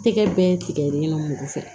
Tɛgɛ bɛɛ tigɛlen nɔ mugu fɛ